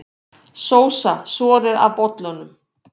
Sósa soðið af bollunum